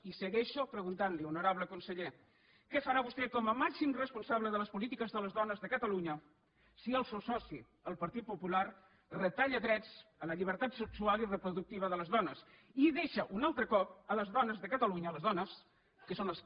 i segueixo preguntant li honorable conseller què farà vostè com a màxim responsable de les polítiques de les dones de catalunya si el seu soci el partit popular retalla drets a la llibertat sexual i reproductiva de les dones i deixa un altre cop les dones de catalunya les dones que són les que